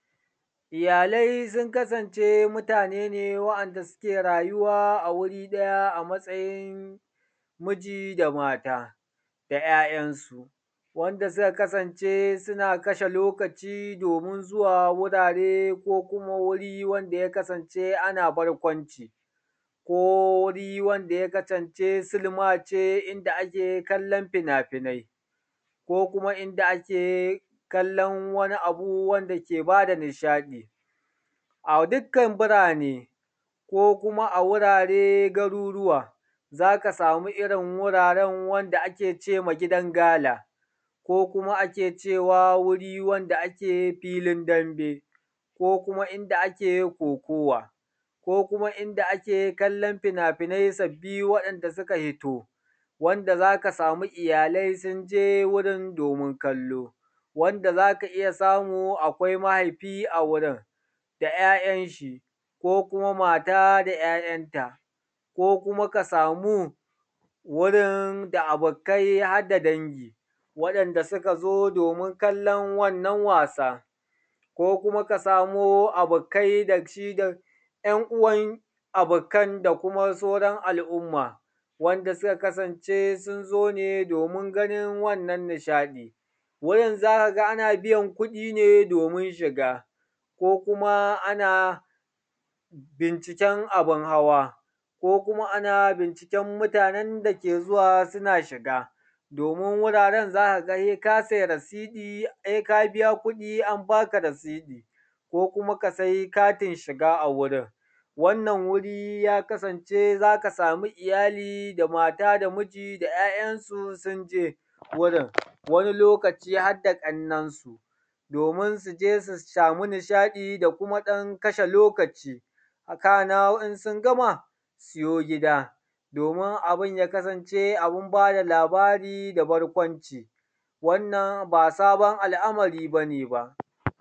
Iyalai sun ka sance mutane ne wa'anda suke rayuwa a wuri ɗaya a matsayin miji da mata da ‘ya’yansu, wanda suka kasance suna kashe lokaci domin zuwa wurare ko kuma wuri wanda ya kasance ana barkwanci, ko wuri wanda ya kasance silma ce inda ake kallan fina finai, ko kuma inda ake kallan wani abu wanda ke ba da nishaɗi. a dukan birane, ko kuma a wurare, garuruwa, za ka samu irin wuraran wanda ake ce ma gidan gala, ko kuma ake cewa wuri wanda ake filin dambe, ko kuma inda ake kokuwa, ko kuma inda ake kallan fina finai sabbi wa'inda suka fito. Wanda za ka samu iyalai sun je wurin domin kallo. Wanda za ka iya samu akwai mahaifi a wurin da ‘ya’yan shi, ko kuma mata da ‘ya’yanta, ko kuma ka samu wurin da abokai har da dangi wadanda suka zo domin kallan wannan wasa. Ko kuma ka samu abokai da shi da ‘yan uwan abokai, da kuma sauran al’umma wanda suka kasance sun zo ne domin ganina wannan nishaɗi. Wurin za ka ga ana biyan kuɗi ne domin shiga, ko kuma ana binciken abin hawa, ko kuma ana binciken mutane da ke zuwa suna shiga domin wuraren za ka ga sai ka sai resiti, sai ka biya kuɗi an baka resiti ko kuma ka sai katin shiga a wurin. Wannan wuri ya kasance za ka samu iyali, da mata da miji, da ‘ya’yansu sun je wurin. Wani lokacin har da ƙannansu domin su je su samu nishaɗi da kuma ɗan kashe lokaci. kana in sun gama su yo gida domin abin ya kasance abin ba da labari da barkwanci. Wannan ba sabon alamari ne ba.